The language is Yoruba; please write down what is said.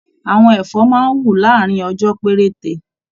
Àwọn ẹfọ máa n wú láàrin ọjọ perete.